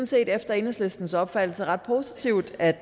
set efter enhedslistens opfattelse ret positivt at